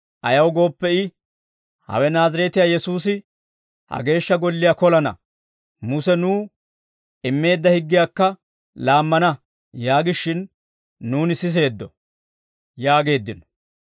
Ayaw gooppe I, ‹Hawe Naazireetiyaa Yesuusi ha Geeshsha Golliyaa kolana; Muse nuw immeedda higgiyaakka laammana› yaagishin, nuuni siseeddo» yaageeddino.